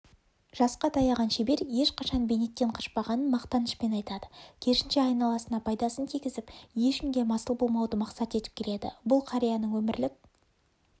жасқа таяған шебер ешқашан бейнеттен қашпағанын мақтанышпен айтады керісінше айналасына пайдасын тигізіп ешкімге масыл болмауды мақсат етіп келеді бұл қарияның өмірлік